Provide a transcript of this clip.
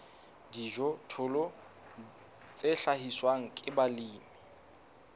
dijothollo tse hlahiswang ke balemi